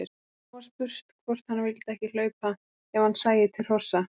Svo var spurt hvort hann vildi ekki hlaupa ef hann sæi til hrossa.